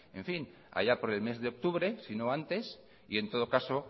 en fin haya por el mes de octubre si no antes y en todo caso